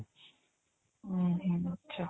ଉଁ ହୁଁ ଆଛା